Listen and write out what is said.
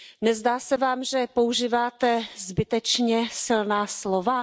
Nezdá se Vám, že používáte zbytečně silná slova?